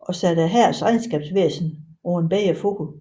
og satte hærens regnskabsvæsen på en bedre fod